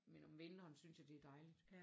Men om vinteren synes jeg det er dejligt